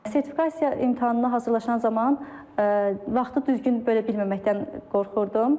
Sertifikasiya imtahanına hazırlaşan zaman vaxtı düzgün bilməməkdən qorxurdum.